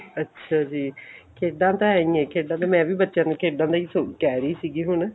ਅੱਛਾ ਜੀ ਖੇਡਾ ਤਾਂ ਐਈ ਨੇ ਖੇਡਾ ਤਾਂ ਮੈਂ ਵੀ ਬੱਚਿਆ ਨੂੰ ਖੇਡਾਂ ਦਾ ਹੀ ਕਹਿ ਰਹੀ ਸੀ ਹੁਣ